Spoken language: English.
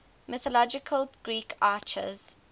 mythological greek archers